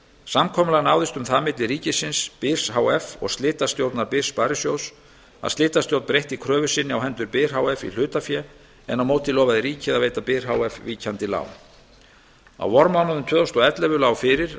samkomulag náðist um það milli ríkisins byrs h f og slitastjórnar byrs sparisjóðs að slitastjórn breytti kröfu sinni á hendur byr h f í hlutafé en á móti lofaði ríkið að veita byr h f víkjandi lán á vormánuðum tvö þúsund og ellefu lá fyrir að áætlanir